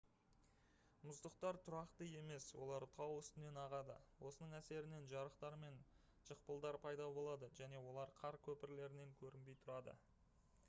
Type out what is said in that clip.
мұздықтар тұрақты емес олар тау үстінен ағады осының әсерінен жарықтар мен жықпылдар пайда болады және олар қар көпірлерінен көрінбей тұрады